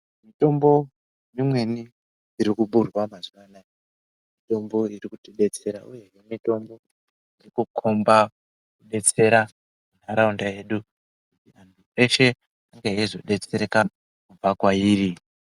mitombo imweni iri kuburwa mazuwa anaya , mitombo iri kutibetserawee. Mitombo iri kukhomba kubetsera ntaraunda yedu, yeshe inge yeizodetsereka kubva kwairi.